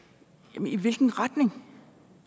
jamen i hvilken retning